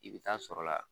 I bɛ taa sɔrɔ la